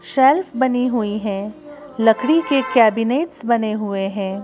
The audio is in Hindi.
शेल्फ बनी हुई है लकड़ी के केबिनेट्स बने हुए हैं।